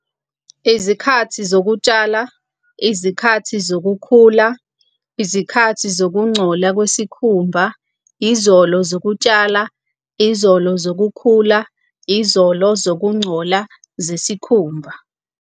Izikhathi zokutshala, izikhathi zokukhula, izikhathi zokungcola kwesikhumba, izolo zokutshala, izolo zokukhula, izolo zokungcola zesikhumba.